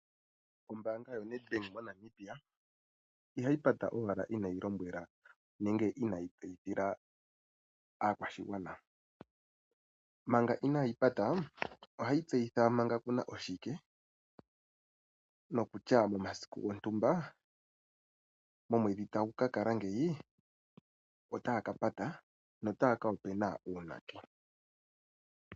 Oombanga yoNEDBANK ihayi pata uuna inayi lombwela aakwashigwana kutya mo masiku gontumba nenge moonwedhi dhontumba otaya ka kala yapata no taa kapatulula uunake.